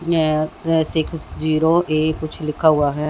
यहां पे six zero A कुछ लिखा हुआ है।